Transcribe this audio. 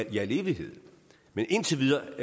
i al evighed men indtil videre